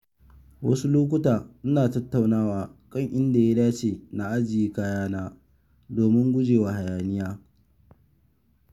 Wasu lokuta ina tattaunawa kan inda ya dace na ajiye kayana domin gujewa hayaniya.